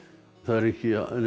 það er ekki